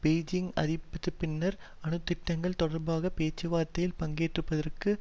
Beijing ஆதரித்தப்பின்னரும் அணு திட்டங்கள் தொடர்பாக பேச்சுவார்த்தையில் பங்குபெறுவதற்கு